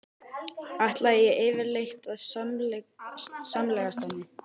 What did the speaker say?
Ætlaði ég yfirleitt að samgleðjast henni?